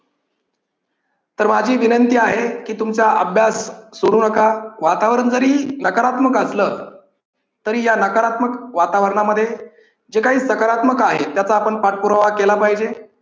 तर माझी विनंती आहे की तुमचा अभ्यास सोडू नका. वातावरण जरी नकारात्मक असलं तरी या नकारात्मक वातावरणामध्ये जे काही सकारात्मक आहे त्याचा आपण पाठपुरावा केला पाहिजे.